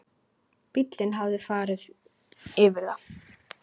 Bíllinn hafði farið yfir það.